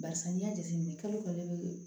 Barisa n'i y'a jateminɛ kalo kalo